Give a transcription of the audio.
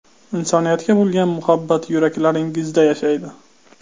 Insoniyatga bo‘lgan muhabbat yuraklaringizda yashaydi!